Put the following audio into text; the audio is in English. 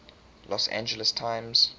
los angeles times